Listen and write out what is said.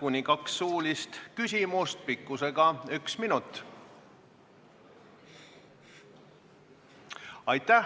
kuni kaks suulist küsimust pikkusega üks minut.